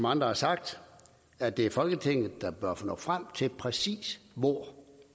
andre har sagt at det er folketinget der bør nå frem til præcis hvor